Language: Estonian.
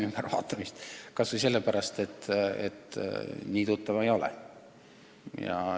Nii tuttav ma nendega ei ole.